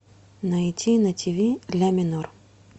найти на тв ля минор